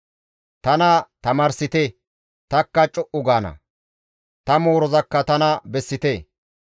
«Tana tamaarsite; tanikka co7u gaana; ta moorozakka tana bessite.